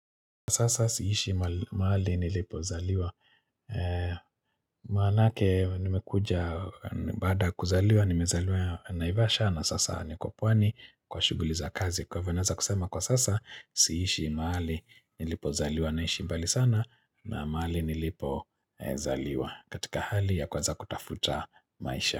Sasa siishi mahali nilipozaliwa Maanake nimekuja baada ya kuzaliwa, nimezaliwa Naivasha na sasa niko pwani kwa shughuli za kazi Kwahivyo naweza kusema kwa sasa siishi mahali nilipozaliwa Naishi mbali sana na mahali nilipozaliwa katika hali ya kuweza kutafuta maisha.